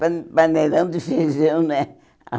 Pan paneirão de feijão, né? Ah